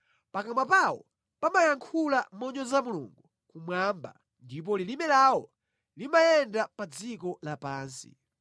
Pakamwa pawo pamayankhula monyoza Mulungu kumwamba ndipo lilime lawo limayenda pa dziko lapansi.